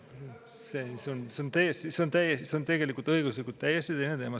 See on tegelikult õiguslikult täiesti teine teema.